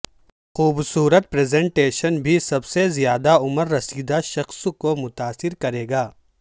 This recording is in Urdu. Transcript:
خوبصورت پریزنٹیشن بھی سب سے زیادہ عمر رسیدہ شخص کو متاثر کرے گا